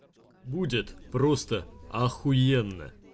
будет просто ахуенно